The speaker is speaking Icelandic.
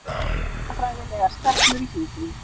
Hugmyndafræðilegar stefnur í hjúkrun